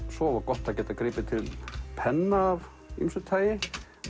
svo var gott að geta gripið til penna af ýmsu tagi